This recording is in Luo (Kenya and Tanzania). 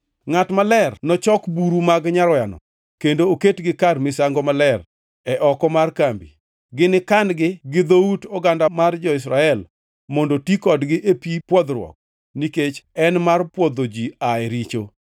“Ngʼat maler nochok buru mag nyaroyano kendo oketgi kar misango maler e oko mar kambi. Ginikan-gi gi dhout oganda mar jo-Israel mondo ti kodgi e pi pwodhruok; nikech en mar pwodho ji aa e richo.